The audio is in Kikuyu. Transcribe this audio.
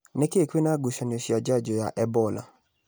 Nĩkĩ kwĩna ngucanio cia njanjo ya Ebola?